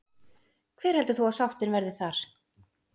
Hver heldur þú að sáttin verði þar?